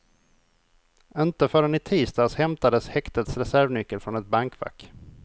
Inte förrän i tisdags hämtades häktets reservnyckel från ett bankfack.